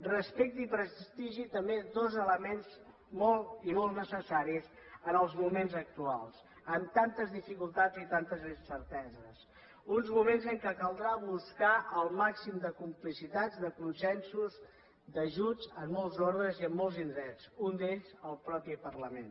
respecte i prestigi també dos elements molt i molt necessaris en els moments actuals amb tantes dificultats i tantes incerteses uns moments en què caldrà buscar el màxim de complicitat de consensos d’ajuts en molts ordres i en molts indrets un d’ells el mateix parlament